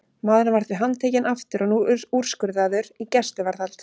Maðurinn var því handtekinn aftur og nú úrskurðaður í gæsluvarðhald.